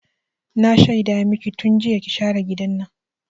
Na shaida maki tun jiya ki share gidan nan!